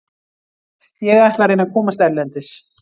Ég ætla að reyna að komast erlendis.